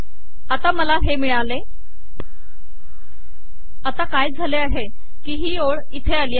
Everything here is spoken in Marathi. आता मला हे मिळाले आता काय झाले आहे की ही ओळ इथे आली आहे